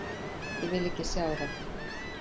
Ég vil ekki sjá það.